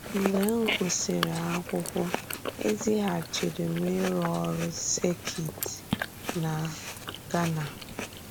Mgbe m gụsìrì akwúkwọ, e zìghàchìrì m ịrụ́ ọ̀rụ́ sèkìt na Ghana.